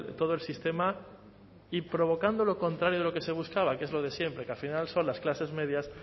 todo el sistema y provocando lo contrario de lo que se buscaba que es lo de siempre que al final son las clases medias